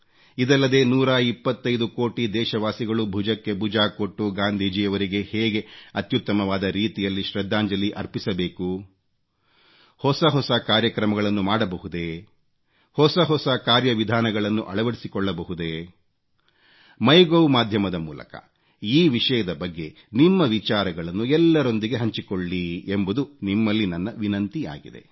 ಇದಲ್ಲದೆ 125 ಕೋಟಿ ದೇಶವಾಸಿಗಳು ಭುಜಕ್ಕೆ ಭುಜ ಕೊಟ್ಟು ಗಾಂಧೀಜಿಯವರಿಗೆ ಹೇಗೆ ಅತ್ಯುತ್ತಮವಾದ ರೀತಿಯಲ್ಲಿ ಶ್ರದ್ಧಾಂಜಲಿ ಅರ್ಪಿಸಬೇಕು ಹೊಸ ಹೊಸ ಕಾರ್ಯಕ್ರಮಗಳನ್ನು ಮಾಡಬಹುದೇ ಹೊಸ ಹೊಸ ಕಾರ್ಯವಿಧಾನಗಳನ್ನು ಅಳವಡಿಸಿಕೊಳ್ಳಬಹುದೇ ಒಥಿಉov ಮಾಧ್ಯಮದ ಮೂಲಕ ಈ ವಿಷಯದ ಬಗ್ಗೆ ನಿಮ್ಮ ವಿಚಾರಗಳನ್ನು ಎಲ್ಲರೊಂದಿಗೆ ಹಂಚಿಕೊಳ್ಳಿ ಎಂಬುದು ನಿಮ್ಮಲ್ಲಿ ನನ್ನ ವಿನಂತಿಯಾಗಿದೆ